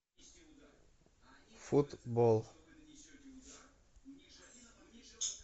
футбол